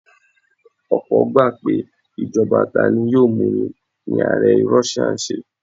Ọ̀pọ́ gbà pé ìjọba tani-yóò-múni ni ààrẹ Russia ń ṣe.